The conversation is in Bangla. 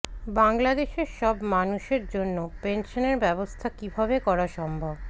বাংলাদেশের সব মানুষের জন্য পেনশনের ব্যবস্থা কীভাবে করা সম্ভব